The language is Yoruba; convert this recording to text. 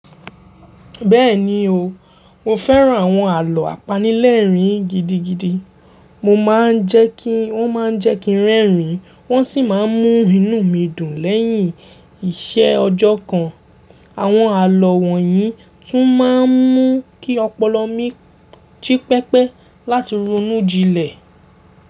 Bẹ́ẹ̀ni o, mo fẹ́ran àwọn àlọ́o àpanílẹ̀rín gidigidi. Mo máa ń jẹ́ kí wọ́n má ń jẹ́ kí n rẹ́rìn-ín, wọ́n sì máa ń mú inú mi dùn lẹ́yìn iṣẹ́ ọjọ́ kan. Àwọn àlọ́ wọ̀nyí tún máa ń mú kí ọpọlọ mi gi pẹpẹ láti ronú jinlẹ̀.